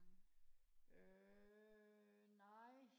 øh nej